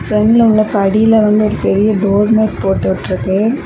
பிராண்ட்ல உள்ள படியில வந்து ஒரு பெரிய டோர் மேட் போட்டு விட்ருக்கு.